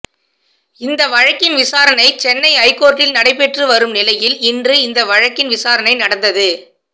இந்த வழக்கின் விசாரணை சென்னை ஐகோர்ட்டில் நடைபெற்று வரும் நிலையில் இன்று இந்த வழக்கின் விசாரணை நடந்தது